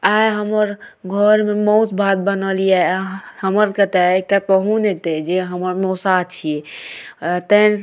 आय हमर घर मे मॉस भात बनल ये आय हमरा कता पहुन एते जे हमर मौसा छिए।